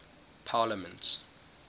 parliaments